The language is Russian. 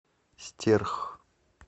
стерх